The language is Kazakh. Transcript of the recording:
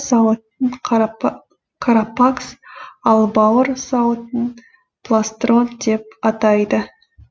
сауытын карапакс ал бауыр сауытын пластрон деп атайды